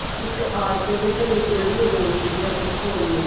ਇੱਕ ਆਟੋ ਦੇ ਘਰੇ ਜਿਹੜੀਆਂ ਦੋ ਸੀਗੀਆਂ ਉਹ ਕੋਣ ਨੇ